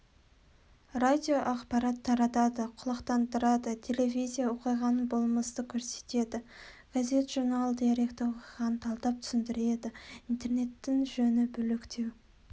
радио ақпарат таратады құлақтандырады телевизия оқиғаны болмысты көрсетеді газет-журнал деректі оқиғаны талдап түсіндіреді интернеттің жөні бөлектеу